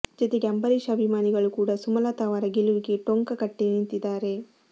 ಜೊತೆಗೆ ಅಂಬರೀಶ್ ಅಭಿಮಾನಿಗಳು ಕೂಡಾ ಸುಮಲತಾ ಅವರ ಗೆಲುವಿಗೆ ಟೊಂಕ ಕಟ್ಟಿ ನಿಂತಿದ್ದಾರೆ